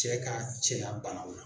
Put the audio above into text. Cɛ ka cɛya banaw la